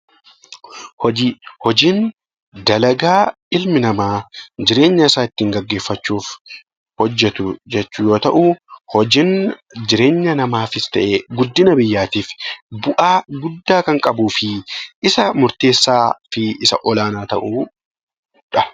Hojii Hojiin dalagaa ilmi namaa jireenya isaa ittiin gaggeeffachuuf hojjetu jechuu yoo ta'u, hojiin jireenya namaafis ta'ee guddina biyyaaf bu'aa guddaa kan qabuu fi isa murteessaa fi olaanaa ta'edha.